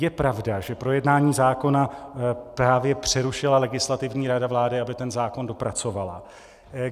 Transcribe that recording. Je pravda, že projednání zákona právě přerušila Legislativní rada vlády, aby ten zákon dopracovala?